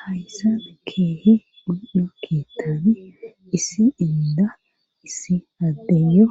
hayssan keehi mundo keettani issi inda issi addeyo